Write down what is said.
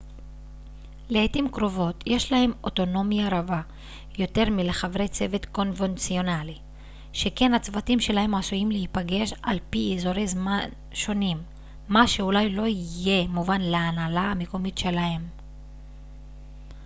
לעיתים קרובות יש להם אוטונומיה רבה יותר מלחברי צוות קונבנציונלי שכן הצוותים שלהם עשויים להיפגש על פי אזורי זמן שונים מה שאולי לא יהיה מובן להנהלה המקומית שלהם